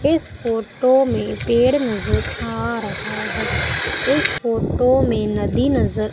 इस फोटो में पेड़ नजर आ रहा है इस फोटो में नदी नजर--